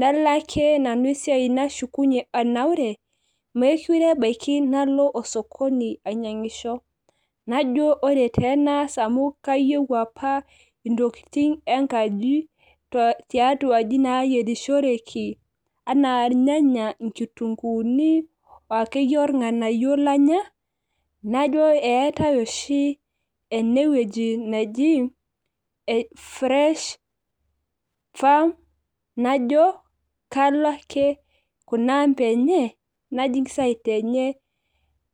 nalo ake nanu esiai nashukunye anaure, meekure ebaiki nalo osokoni ainyiangisho. najo ore taa enaas amu kayieu apa intokitin enkaji, tiatua aji naayierishoreki, anaa irnyanya inkitunkuuni akeyie orng'anayio lanya. najo eetae ooshi ene wueji neji fresh farm najo kalo ake, kuna ampa enye, najing site enye,